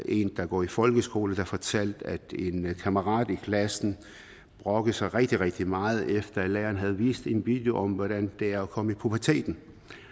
en der går i folkeskole der fortalte at en kammerat i klassen brokkede sig rigtig rigtig meget efter at læreren havde vist en video om hvordan det er at komme i puberteten